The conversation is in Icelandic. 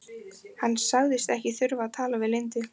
Hann sagðist ekki þurfa að tala við Lindu.